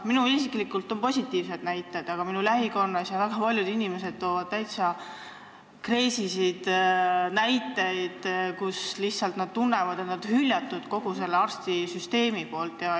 Minul endal on positiivsed kogemused, aga minu lähikonnas on väga paljud inimesed toonud täitsa hulle näiteid ja öelnud, et nad on tundnud ennast hüljatuna kogu selles arstisüsteemis.